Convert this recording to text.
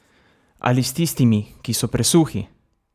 Ali s tistimi, ki so presuhi?